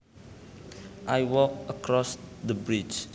I walked across the bridge